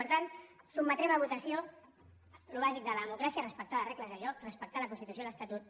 per tant sotmetrem a votació el bàsic de la democràcia respectar les regles del joc respectar la constitució i l’estatut